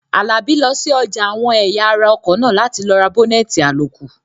Àlàbí lọ sí ọjà àwọn ẹ̀yà ara ọkọ̀ náà láti lọ ra bọ́nẹ̀tì àlòkù